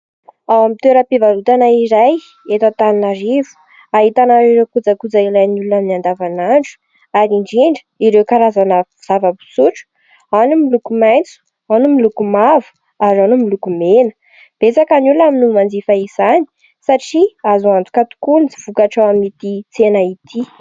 Ao amin'ny toeram-pivarotana iray eto Antananarivo ahitana ireo kojakoja ilain'ny olona amin'ny andavanandro, ary indrindra ireo karazana zavam-pisotro : ao ny miloko maitso, ao ny miloko mavo ary ao ny miloko mena. Betsaka ny olona no manjifa izany satria azo antoka tokoa ny vokatra ao amin'ity tsena ity.